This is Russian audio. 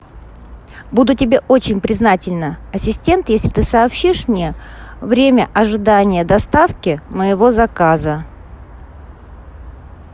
буду тебе очень признательна ассистент если ты сообщишь мне время ожидания доставки моего заказа